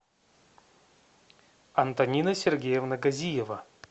антонина сергеевна козиева